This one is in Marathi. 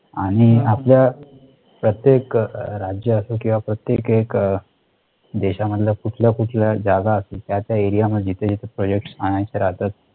आणि आपल्या प्रत्येक राज्यअसो किंवा प्रत्येक एक देशा मधला कुठला कुठला जागा असेल त्या त्या area मध्ये ते project आणायचे राहतात